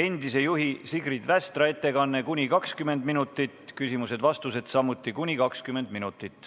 endise juhi Sigrid Västra ettekanne kuni 20 minutit, küsimused-vastused samuti kuni 20 minutit.